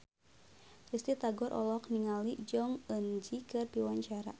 Risty Tagor olohok ningali Jong Eun Ji keur diwawancara